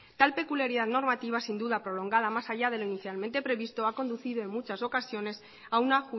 tal peculiaridad normativa sin duda prolongada más allá de lo inicialmente previsto ha conducido en muchas ocasiones a una